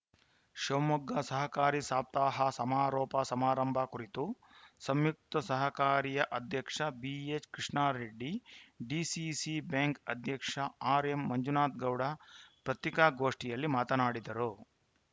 ಶಿವಮೊಗ್ಗದಲ್ಲಿ ಸಹಕಾರಿ ಸಪ್ತಾಹ ಸಮಾರೋಪ ಸಮಾರಂಭ ಕುರಿತು ಸಂಯುಕ್ತ ಸಹಕಾರಿಯ ಅಧ್ಯಕ್ಷ ಬಿಹೆಚ್‌ಕೃಷ್ಣಾರೆಡ್ಡಿ ಡಿಸಿಸಿ ಬ್ಯಾಂಕ್‌ ಅಧ್ಯಕ್ಷ ಆರ್‌ ಎಂ ಮಂಜುನಾಥಗೌಡ ಪತಿಕಾಗೋಷ್ಠಿಯಲ್ಲಿ ಮಾತನಾಡಿದರು